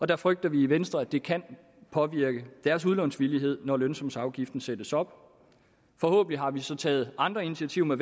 der frygter vi i venstre at det kan påvirke deres udlånsvillighed når lønsumsafgiften sættes op forhåbentlig har vi så taget andre initiativer